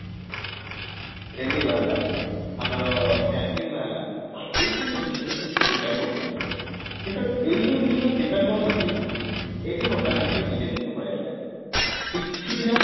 railway ବାହାରିଲା ଆମର banking ବାହାରିଲା ଏଇ ସବୁ system ରେ prepare କରୁଛନ୍ତି କିନ୍ତୁ ଏଇ ସବୁ ଜିନିଷ ପାଇଁ prepare କରୁଛନ୍ତି ଏବେ ବର୍ତମାନ ଆସିଲା ଦି ଟା ଜିନିଷ ପଳେଇଆସିଲା ଏବେ ଏଇ କିଛି ପିଲା